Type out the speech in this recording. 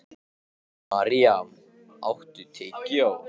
Maríam, áttu tyggjó?